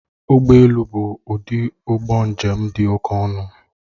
Ụgbọ elu bụ ụdị ụgbọ njem dị oké ọnụ